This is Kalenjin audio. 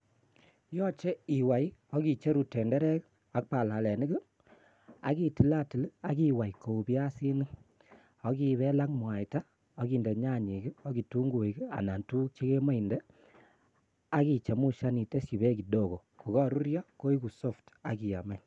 Yoche iwai ok icheru tenderek ak balelenik ak itillatil ak iway kou biasinik ak ibel ak mwata ok inde nyanyik ak ketunguik anan tuguk chegemoe inde ak ichemushan iteshipek bek kidogo kogoruryo koigu soft ak iyam any.